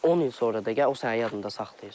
10 il sonra da gəl o səni yadında saxlayır.